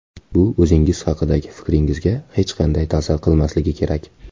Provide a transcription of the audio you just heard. Bu o‘zingiz haqidagi fikringizga hech qanday ta’sir qilmasligi kerak.